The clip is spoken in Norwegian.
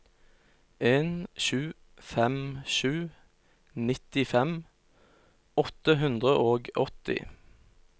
en sju fem sju nittifem åtte hundre og åtti